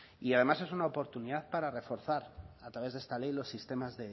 y además es una oportunidad para reforzar a través de esta ley los sistemas